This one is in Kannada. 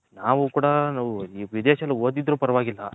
ನಾವು ಕೂಡ ಈ ವಿದೇಶದಲ್ಲಿ ಹೊದಿದ್ರು ಪರವಾಗಿಲ್ಲ.